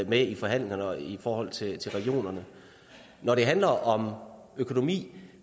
med i forhandlingerne i forhold til regionerne når det handler om økonomi